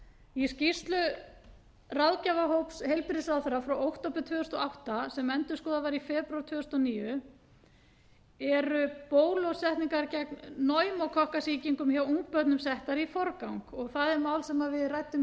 í skýrslu ráðgjafahóps heilbrigðisráðherra frá október tvö þúsund og átta sem endurskoðuð var í febrúar tvö þúsund og níu eru bólusetningar gegn pneumókokkasýkingum hjá ungbörnum settar í forgang það er mál sem við ræddum